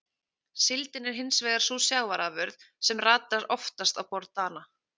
Síldin er hins vegar sú sjávarafurð sem ratar oftast á borð Dana.